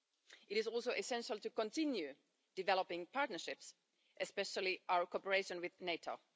It is also essential to continue developing partnerships, especially our cooperation with NATO.